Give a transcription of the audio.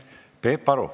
Peep Aru.